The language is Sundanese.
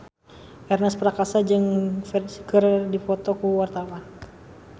Ernest Prakasa jeung Ferdge keur dipoto ku wartawan